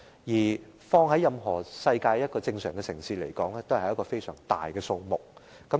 即使放於世上任何一個正常城市，這也是一個相當大的數目。